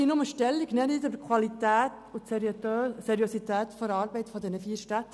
Ich möchte Stellung nehmen zu Qualität und Seriosität der Arbeit der vier Städte.